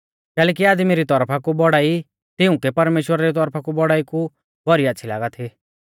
कैलैकि आदमी री तौरफा कु बौड़ाई तिउंकै परमेश्‍वरा री तौरफा री बौड़ाई कु भौरी आच़्छ़ी लागा थी